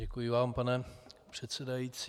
Děkuji vám, pane předsedající.